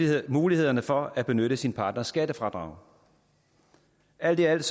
mulighederne for at benytte sin partners skattefradrag alt i alt